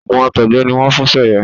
oògùn àtọgbẹ ni wọn ń fún Seye.